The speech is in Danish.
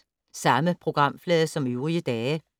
Samme programflade som øvrige dage